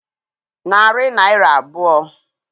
Narị Naịra abụọ.